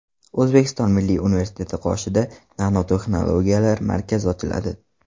O‘zbekiston Milliy universiteti qoshida Nanotexnologiyalar markazi ochiladi.